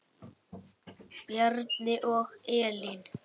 Bjarni og Elín.